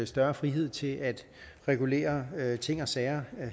større frihed til at regulere ting og sager